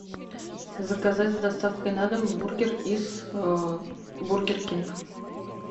заказать с доставкой на дом бургер из бургер кинг